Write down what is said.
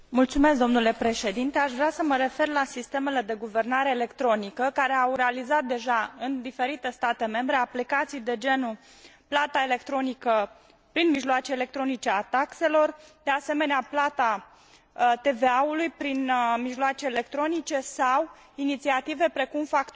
Aș vrea să mă refer la sistemele de guvernare electronică, care au realizat deja, în diferite state membre, aplicații de genul plata electronică a taxelor prin mijloace electronice, de asemenea plata TVA ului prin mijloace electronice sau inițiative precum facturarea electronică.